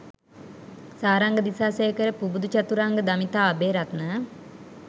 Saranga Disasekara Pubudu Chathuranga Damitha Abeyratne